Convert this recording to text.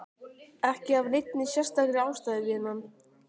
Ekki af neinni sérstakri ástæðu, vinan.